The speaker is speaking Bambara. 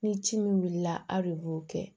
Ni ci min wulila aw de b'o kɛ